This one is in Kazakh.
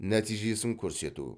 нәтижесін көрсету